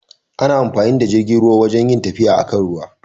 Ana amfani da jirgin ruwa wajan rin tafiya a kan ruwa.